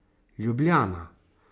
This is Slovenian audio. Ljubljana.